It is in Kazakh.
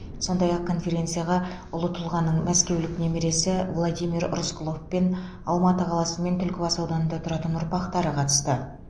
сондай ақ конференцияға ұлы тұлғаның мәскеулік немересі владимир рысқұлов пен алматы қаласы мен түлкібас ауданында тұратын ұрпақтары қатысты